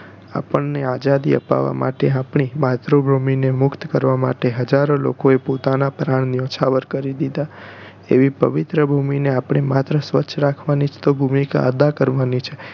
આપણને આઝાદી અપાવવા માટે આપણી માતૃભૂમિ ને મુક્ત કરવા માટે હજારો લોકો એ પોતાનાં પ્રાણ ન્યોછાવર કરી દીધા એવી પવિત્ર ભૂમિ ને આપણે માત્ર સ્વચ્છ રાખવાની ભૂમિકા તો અદા કરવાની છે